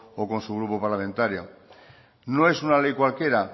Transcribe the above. o con su grupo parlamentario no es una ley cualquiera